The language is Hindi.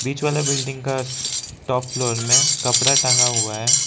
बीच वाला बिल्डिंग का टॉप फ्लोर में कपड़ा टंगा हुआ है।